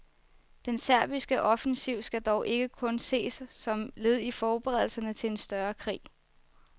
Den serbiske offensiv skal dog ikke kun ses som led i forberedelserne til en større krig.